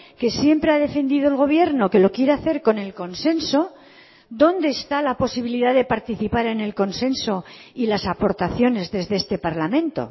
que siempre ha defendido el gobierno que lo quiere hacer con el consenso dónde está la posibilidad de participar en el consenso y las aportaciones desde este parlamento